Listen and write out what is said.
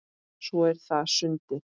Svo er það sundið.